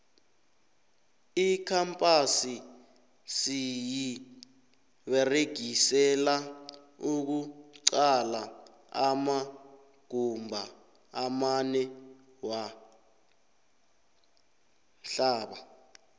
icampasi siyiberegisela ukuqala amagumba amanewamhlaba